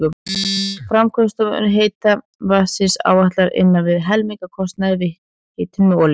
Framleiðslukostnaður heita vatnsins áætlaður innan við helmingur af kostnaði við hitun með olíu.